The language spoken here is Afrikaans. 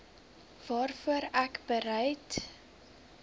waarvoor ek bereid